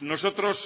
nosotros